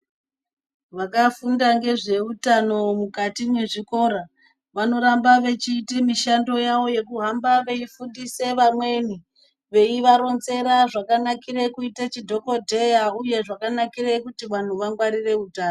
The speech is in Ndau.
Vakafunda ngezveutano mukati mezvikora vanoramba vechiita mishando yavo yekuhamba veifundisa vamweni veivaronzera zvakanakira kuite madhokodheya uye zvakanakire kuti vanhu vangwarire utano .